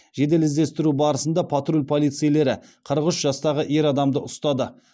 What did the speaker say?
жедел іздестіру барысында патруль полицейлері қырық үш жастағы ер адамды ұстады